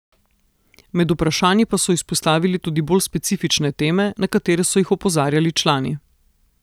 Med vprašanji pa so izpostavili tudi bolj specifične teme, na katere so jih opozarjali člani.